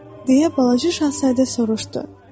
deyə balaca şahzadə soruşdu.